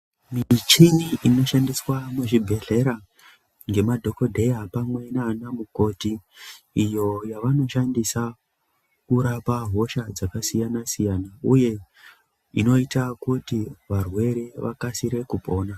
Michini inoshandiswa muzvibhehlera ngemadhokodheya pamwe nana mukoti iyo yavanoshandisa kurapa hosha dzakasiyanasiyana uye inoita kuti varwere vakasire kupona.